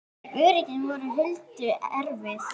En örlögin voru Huldu erfið.